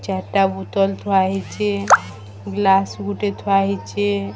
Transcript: ଚାରଟା ବୁତଲ ଥୁଆ ହେଇଛେ ଗ୍ଲାସ୍ ଗୁଟେ ଥୁଆ ହେଇଛେ।